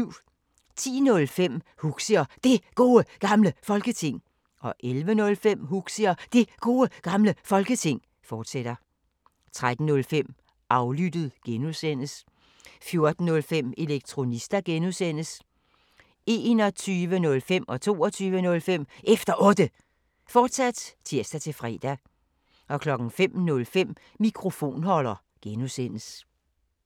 10:05: Huxi og Det Gode Gamle Folketing 11:05: Huxi og Det Gode Gamle Folketing, fortsat 13:05: Aflyttet G) 14:05: Elektronista (G) 21:05: Efter Otte, fortsat (tir-fre) 22:05: Efter Otte, fortsat (tir-fre) 05:05: Mikrofonholder (G)